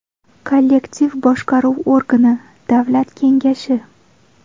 Kollektiv boshqaruv organi, Davlat kengashi.